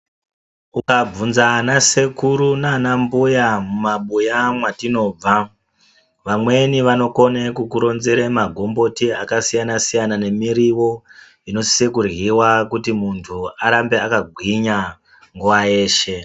Ukabvunza ana sekuru naanambuya mumabuya mwatinobva vamweni vanokone kukuronzere magomboti akasiyana siyana nemiriwo inosise kuryiwa kuti arambe akagwinya nguwa yeshe .